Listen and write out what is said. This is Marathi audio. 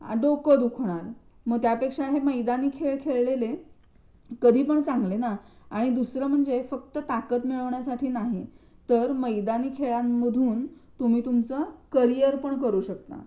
मंग त्यापेक्षा हे मैदानी खेळ खेळलेले कधी पण चांगले ना आणि दुसरा म्हणजे फक्त ताकद मिळवण्यासाठी नाही तर मैदानी खेळांमधून तुम्ही तुमचं करिअर पण करू शकता